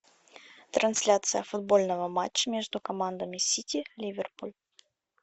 трансляция футбольного матча между командами сити ливерпуль